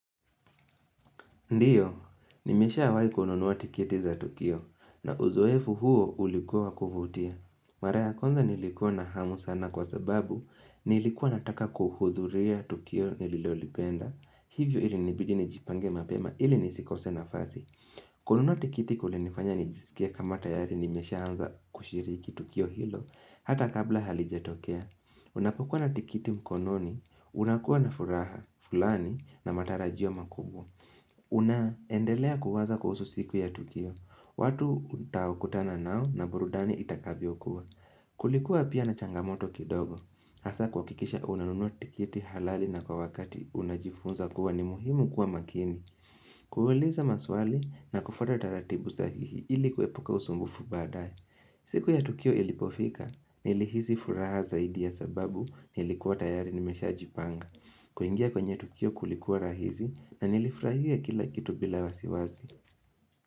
Ndiyo, nimesha wai kununua tiketi za Tukio na uzoefu huo ulikuwa wa kuvutia. Mara ya kwanza nilikuwa na hamu sana kwa sababu nilikuwa nataka kuhudhuria Tukio nililolipenda hivyo ili nibidi nijipange mapema ili nisikose na fasi. Kununua tiketi kulinifanya nijisikie kama tayari nimeshaanza kushiriki Tukio hilo hata kabla halijatokea. Unapokuwa na tikiti mkononi, unakuwa na furaha, fulani na matarajio makubwa. Una, endelea kuwaza kuhusu siku ya Tukio. Watu utawakutana nao na burudani itakavyo kuwa. Kulikuwa pia na changamoto kidogo. Hasa kuakikisha unanunua tikiti halali na kwa wakati unajifunza kuwa ni muhimu kuwa makini. Kuhuliza maswali na kufuata taratibu za hihi ilikuepuka usumbufu badae. Siku ya Tukio ilipofika, nilihizi furaha zaidi ya sababu nilikuwa tayari nimesha jipanga. Kuingia kwenye tukio kulikuwa rahizi na nilifrahia kila kitu bila wasiwazi.